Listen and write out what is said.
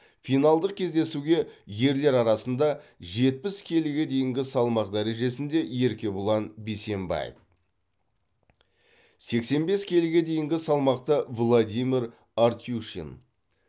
финалдық кездесуге ерлер арасында жетпіс келіге дейінгі салмақ дәрежесінде еркебұлан бейсембаев сексен бес келіге дейінгі салмақта владимир артюшин